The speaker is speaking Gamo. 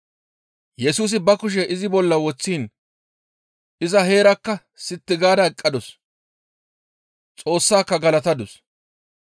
Yesusi ba kushe izi bolla woththiin iza heerakka sitti gaada eqqadus; Xoossaaka galatadus.